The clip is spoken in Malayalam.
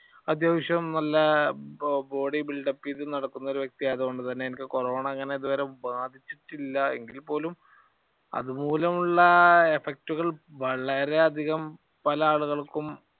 അത്യാവശ്യം നല്ല body build-up യ്തു നടക്കുന്ന ഒരു വ്യക്തി ആയതുകൊണ്ട് തന്നെ എനിക്ക് കൊറോണ അങ്ങനെ ഇതുവരെ ബാധിച്ചിട്ടില്ല. എങ്കിൽ പോലും അതുമൂലം ഉള്ള effect ഉകൾ വളരെയധികം പല ആളുകൾക്കും